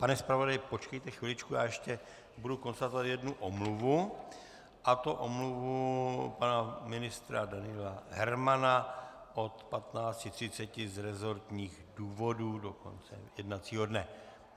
- Pane zpravodaji, počkejte chviličku, já ještě budu konstatovat jednu omluvu, a to omluvu pana ministra Daniela Hermana od 15.30 z rezortních důvodů do konce jednacího dne.